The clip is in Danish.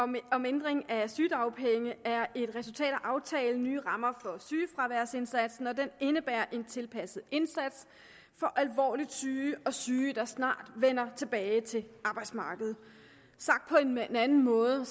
om ændring af sygedagpenge er et resultat af aftalen om nye rammer for sygefraværsindsatsen og den indebærer en tilpasset indsats for alvorligt syge og syge der snart vender tilbage til arbejdsmarkedet sagt på en anden måde